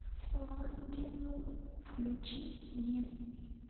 лондинум включи мне